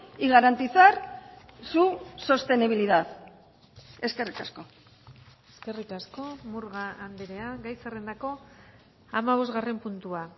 y garantizar su sostenibilidad eskerrik asko eskerrik asko murga andrea gai zerrendako hamabosgarren puntua